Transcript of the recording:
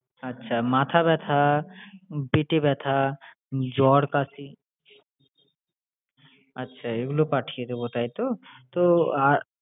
আচ্ছা! মাথা ব্যথা, পেটে ব্যথা, জ্বর, কাশি আচ্ছা এইগুলো পাঠিয়ে দেবো তাইতো? তো আহ